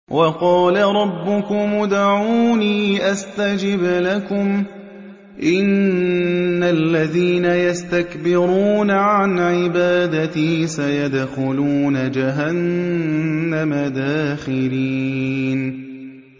وَقَالَ رَبُّكُمُ ادْعُونِي أَسْتَجِبْ لَكُمْ ۚ إِنَّ الَّذِينَ يَسْتَكْبِرُونَ عَنْ عِبَادَتِي سَيَدْخُلُونَ جَهَنَّمَ دَاخِرِينَ